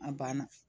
A banna